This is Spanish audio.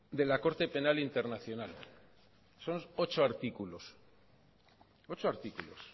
de la corte penal internacional son ocho artículos ocho artículos